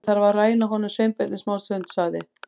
Ég þarf að ræna honum Sveinbirni smástund- sagði